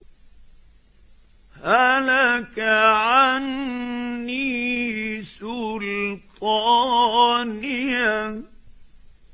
هَلَكَ عَنِّي سُلْطَانِيَهْ